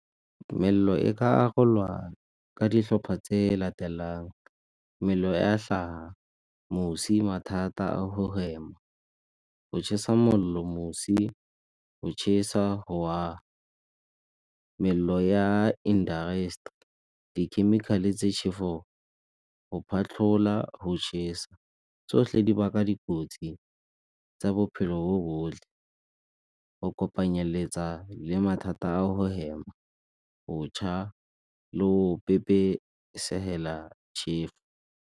Tumelelo e ka arolwana ka dihlopa tse latelang, mello ya hlaga, mosi, mathata a go hema, go chesa mollo mosi, go chesa go aga, mello ya dikhemikhale tse , go phatlhola go chesa. tsohle di baka dikotsi tsa bophelo bo bohle go kopanyeletsa le mathata a go hema, go cha le go chefu.